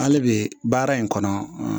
Hali bi baara in kɔnɔ